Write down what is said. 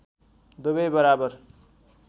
दुबै बराबर